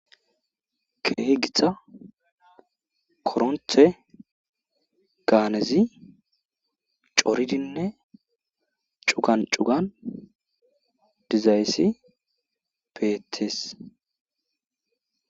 Keehi githa koronthe gaanezi corizinne cugan cugan dizayssi beettes.